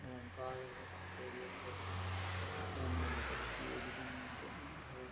Omkar carrier को दूकान है बड़ी सार की ये दूकान है।